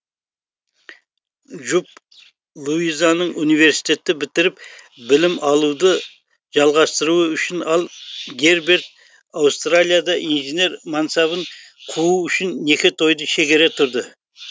жұп луизаның университетті бітіріп білім алуды жалғастыру үшін ал герберт аустралияда инженер мансабын қуу үшін неке тойды шегере тұрды